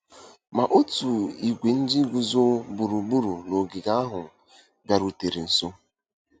Ma otu ìgwè ndị guzo gburugburu n'ogige ahụ bịarutere nso.